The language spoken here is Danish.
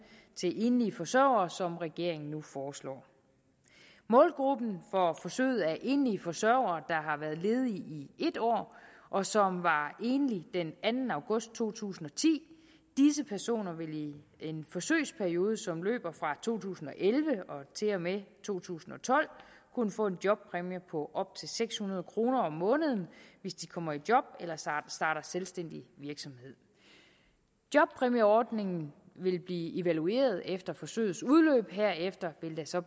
til enlige forsørgere som regeringen nu foreslår målgruppen for forsøget er enlige forsørgere der har været ledige i et år og som var enlige den anden august to tusind og ti disse personer vil i en forsøgsperiode som løber fra to tusind og elleve og til og med to tusind og tolv kunne få en jobpræmie på op til seks hundrede kroner om måneden hvis de kommer i job eller starter selvstændig virksomhed jobpræmieordningen vil blive evalueret efter forsøgets udløb herefter vil der så